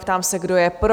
Ptám se, kdo je pro?